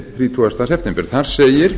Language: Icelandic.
þrítugasta september þar segir